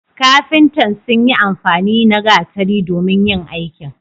kafintan sun yi amfani na gatari domin yin aiki